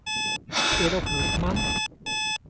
Elof Hultman